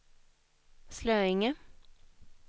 Slöinge